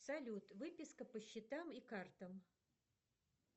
салют выписка по счетам и картам